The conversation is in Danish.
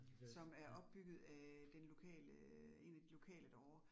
Som er opbygget af den lokale 1 af de lokale derovre